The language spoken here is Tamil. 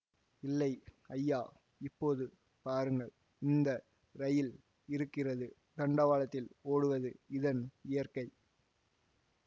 இல்லை ஐயா இப்போது பாருங்கள் இந்த ரயில் இருக்கிறது தண்டவாளத்தில் ஓடுவது இதன் இயற்கை